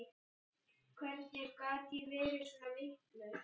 Hvernig gat ég verið svona vitlaus?